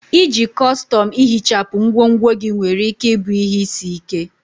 Iji kọstọm ihichapụ ngwongwo gị nwere ike ịbụ ihe isi ike.